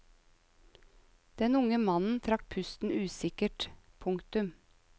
Den unge mannen trakk pusten usikkert. punktum